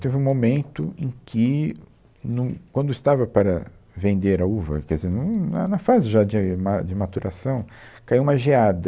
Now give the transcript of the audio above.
Teve um momento em que, no, quando estava para vender a uva, quer dizer, num, na, na fase já de ma de maturação, caiu uma geada.